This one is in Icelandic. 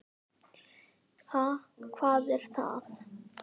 Ha, hvað er það?